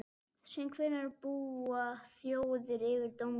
Síðan hvenær búa þjóðir yfir dómgreind?